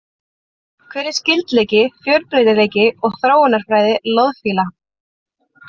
Hver er skyldleiki, fjölbreytileiki og þróunarfræði loðfíla?